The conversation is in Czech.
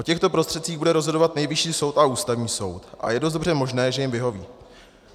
O těchto prostředcích bude rozhodovat Nejvyšší soud a Ústavní soud a je dost dobře možné, že jim vyhoví.